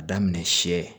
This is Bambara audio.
A daminɛ siyɛ